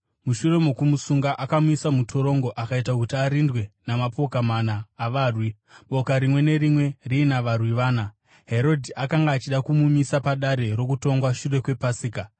Mushure mokumusunga, akamuisa mutorongo, akaita kuti arindwe namapoka mana avarwi, boka rimwe nerimwe riina varwi vana. Herodhi akanga achida kumumisa padare rokutongwa shure kwePasika.